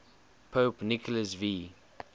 pope nicholas v